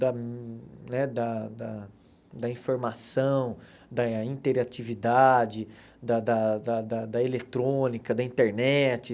da né da da da informação, da interatividade, da da da da da eletrônica, da internet.